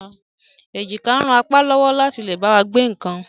Èjìká ń ràn apá wá lọ́wọ́ láti lè bá wa gbé nǹkan